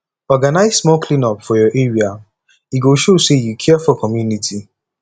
organize small clean up for your area e go show say you care for community